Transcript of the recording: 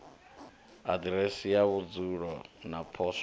aḓiresi ya vhudzulo na poswo